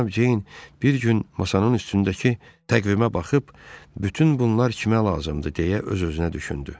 Cənab Ceyn bir gün masanın üstündəki təqvimə baxıb bütün bunlar kimə lazımdır deyə öz-özünə düşündü.